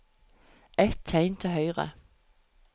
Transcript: Ett tegn til høyre